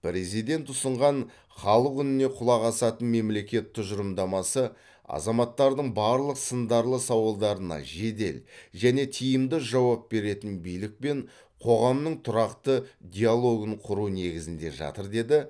президент ұсынған халық үніне құлақ асатын мемлекет тұжырымдамасы азаматтардың барлық сындарлы сауалдарына жедел және тиімді жауап беретін билік пен қоғамның тұрақты диалогын құру негізінде жатыр деді